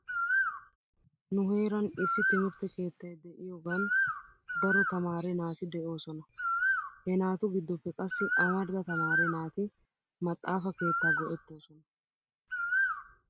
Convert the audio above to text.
Nu heeran issi timirte keettay de'iyaagan daro tamaare naati de'oosona. He naatu gidoppe qassi amarida tamaare naati maxaafa keettaa go'etoosona